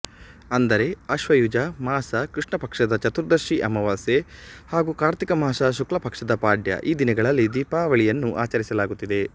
ಅಂದರೆ ಆಶ್ವಯುಜ ಮಾಸ ಕೃಷ್ಣಪಕ್ಷದ ಚತುರ್ದಶಿ ಅಮಾವಾಸ್ಯೆ ಹಾಗೂ ಕಾರ್ತಿಕ ಮಾಸ ಶುಕ್ಲಪಕ್ಷದ ಪಾಡ್ಯ ಈ ದಿನಗಳಲ್ಲಿ ದೀಪಾವಳಿಯನ್ನು ಆಚರಿಸಲಾಗುತ್ತಿದೆ